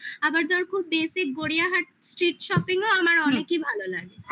আবার তার খুব basic গড়িয়াহাট street shopping ও আমার অনেকই ভালো লাগে